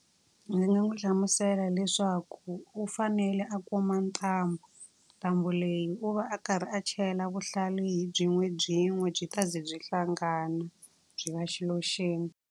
Ndzi nga n'wi hlamusela leswaku u fanele a kuma ntambu, ntambu leyi u va a karhi a chela vuhlalu hi byin'webyin'we. Byi ta ze byi hlangana byi va xilo xin'we.